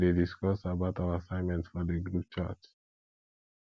we dey discuss about our assignment for di group chat